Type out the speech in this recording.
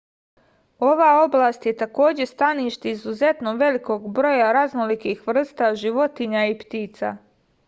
ova oblast je takođe stanište izuzetno velikog broja raznolikih vrsta životinja i ptica